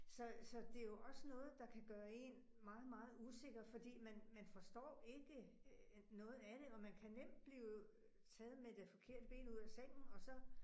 Så så det jo også noget, der kan gøre én meget meget usikker fordi man man forstår ikke øh noget af det, og man kan nemt blive taget med det forkerte ben ude af sengen og så